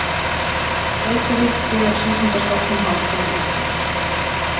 Reykjavík, Félagsvísindastofnun Háskóla Íslands.